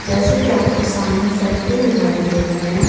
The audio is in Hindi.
जैसे कि आप के सामने साइकिल दिखाई दे रहे हैं।